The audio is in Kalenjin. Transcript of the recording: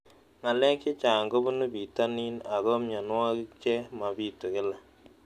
Ng'alek chechang' kopunu pitonin ako mianwogik che mapitu kila